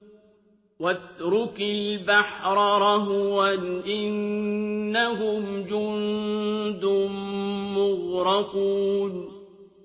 وَاتْرُكِ الْبَحْرَ رَهْوًا ۖ إِنَّهُمْ جُندٌ مُّغْرَقُونَ